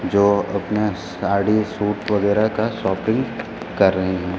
जो अपना साड़ी सूट वगैरा का शॉपिंग कर रहे हैं।